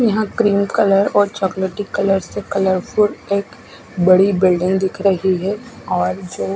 यहाँ pink colour और चोकलेटी कलर से कलरफुल एक बड़ी बिल्डिंग दिख रही है और जो--